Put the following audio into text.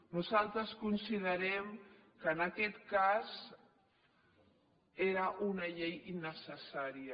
nosaltres considerem que en aquest cas era una llei innecessària